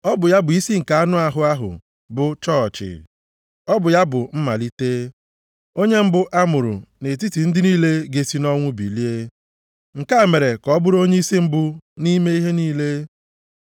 Ọ bụ ya bụ isi nke anụ ahụ ahụ bụ chọọchị. Ọ bụ ya bụ mmalite, onye mbụ a mụrụ nʼetiti ndị niile ga-esi nʼọnwụ bilie. Nke a mere ka ọ bụrụ onyeisi mbụ nʼime ihe niile.